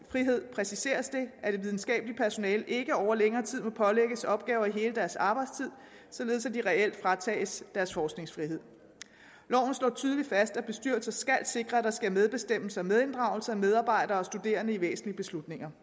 præciseres det at det videnskabelige personale ikke over længere tid må pålægges opgaver i hele deres arbejdstid således at de reelt fratages deres forskningsfrihed loven slår tydeligt fast at bestyrelser skal sikre at der sker medbestemmelse og medinddragelse af medarbejdere og studerende i væsentlige beslutninger